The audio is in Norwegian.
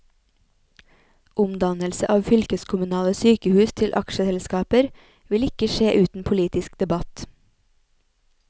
Omdannelse av fylkeskommunale sykehus til aksjeselskaper vil ikke skje uten politisk debatt.